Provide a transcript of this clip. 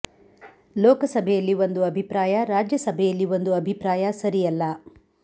ಲೋಕ ಸಭೆಯಲ್ಲಿ ಒಂದು ಅಭಿಪ್ರಾಯ ರಾಜ್ಯ ಸಭೆಯಲ್ಲಿ ಒಂದು ಅಭಿಪ್ರಾಯ ಸರಿಯಲ್ಲ